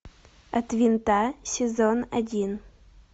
от винта сезон один